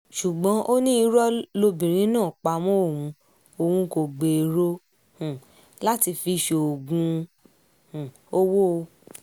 ṣùgbọ́n ó ní irọ́ lobìnrin náà pa mọ́ òun òun kò gbèrò um láti fi í ṣoògùn um owó